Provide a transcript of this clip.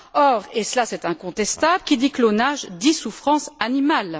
Or, et cela est incontestable, qui dit clonage dit souffrance animale.